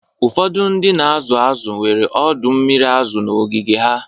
Ụfọdụ ndị na-azụ azụ nwere ọdọ mmiri azụ n'ogige ha